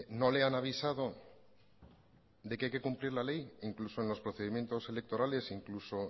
no le han avisado de que hay que cumplir la ley e incluso en los procedimientos electorales incluso